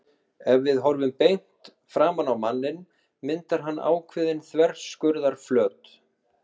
Ef við horfum beint framan á manninn myndar hann ákveðinn þverskurðarflöt.